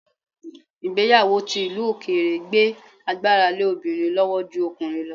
Ìgbéyàwó ti ìlú òkèèrè gbé agbára lé obìnrin lọ́wọ́ ju ọkùnrin lọ